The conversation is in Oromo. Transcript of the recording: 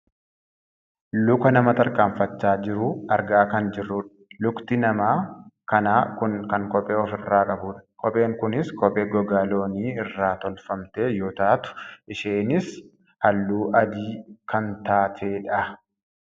luka nama tarkaanfachaa jiru argaa kan jirrudha. lukti nama kanaa kuni kan kophee of irraa qabudha. kopheen kunis kophee gogaa loonii irraa tolfamte yoo taatu isheenis halluu adii kan taatedha.